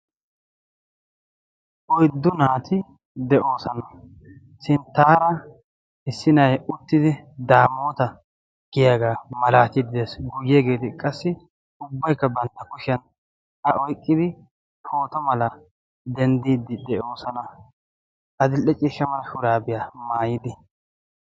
oyddu naati de'oosana sinttaara hissinay uttidi daamoota giyaagaa malaatiidi dees guuyyeegeeti qassi ubbaykka bantta kushiyan a oyqqidi pooto mala denddiiddi de'oosana adil''e ciishsha mala shuraabiyaa maayidi